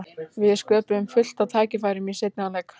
Við sköpuðum fullt af tækifærum í seinni hálfleik.